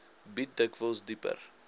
bied dikwels dieper